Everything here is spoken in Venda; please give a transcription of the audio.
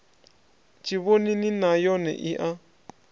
tshivhonini nay one i a